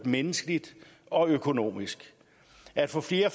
menneskeligt og økonomisk at få flere